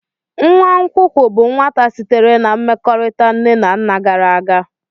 Nwa nkwụkwụ bụ nwata sitere na mmekọrịta nne na nna gara aga.